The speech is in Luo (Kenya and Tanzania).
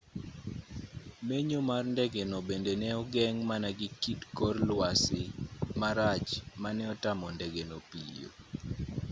menyo mar ndengeno bende ne ogeng' mana gi kit kor lwasi marach ma ne otamo ndegeno piyo